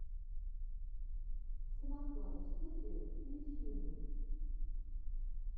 самохвалов студио в ютьюбе